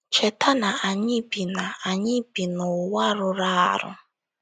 Cheta na anyị bi na anyị bi n’ụwa rụrụ arụ.